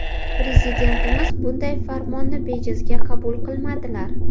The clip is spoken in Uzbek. Prezidentimiz bunday farmonni bejizga qabul qilmadilar.